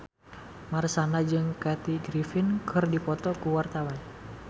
Marshanda jeung Kathy Griffin keur dipoto ku wartawan